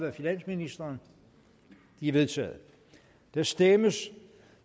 af finansministeren de er vedtaget der stemmes